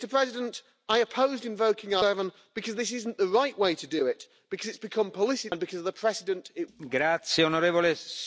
Euroopan parlamentti toimi nyt tältä oikeusperustalta ja toivoi käynnistettäväksi 7 artiklan mukaisen menettelyn.